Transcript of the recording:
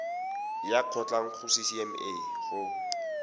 ya kgotlang go ccma go